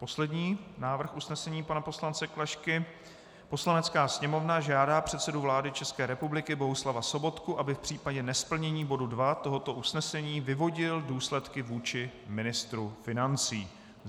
Poslední návrh usnesení pana poslance Klašky: "Poslanecká sněmovna žádá předsedu vlády České republiky Bohuslava Sobotku, aby v případě nesplnění bodu II tohoto usnesení vyvodil důsledky vůči ministru financí."